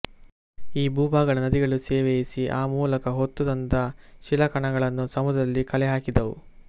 ಈ ಭೂಭಾಗಗಳನ್ನು ನದಿಗಳು ಸವೆಯಿಸಿ ಆ ಮೂಲಕ ಹೊತ್ತು ತಂದ ಶಿಲಾಕಣಗಳನ್ನು ಸಮುದ್ರದಲ್ಲಿ ಕಲೆಹಾಕಿದವು